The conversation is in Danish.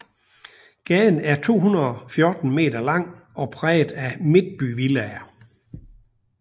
Gaden er 214 meter lang og præget af midtbyvillaer